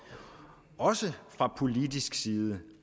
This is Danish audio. også fra politisk side